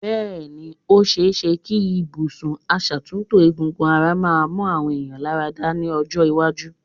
Bẹ́ẹ̀ ni, ó ṣẹ é ṣẹ kí ibùsùn asàtútò egungun ara máa mú àwọn èèyàn láradá ní ọjọ́ iwájú.